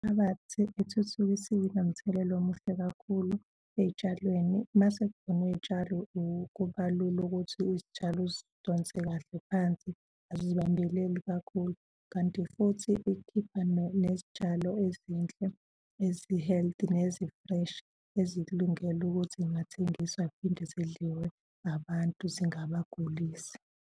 ethuthukisiwe inomthelela omuhle kakhulu ey'tshalweni. Umase kuvunwa iy'tshalo kuba lula ukuthi izitshalo uzidonse kahle phansi azizibambeleli kakhulu. Kanti futhi ikhipha nezitshalo ezinhle ezi-healthy nezi-fresh ezikulungele ukuthi yingathengiswa, ziphinde zidliwe abantu zingabagulisi.